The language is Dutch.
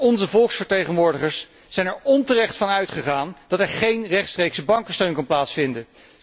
Maar onze volksvertegenwoordigers zijn er onterecht van uitgegaan dat er geen rechtstreekse bankensteun kon plaatsvinden.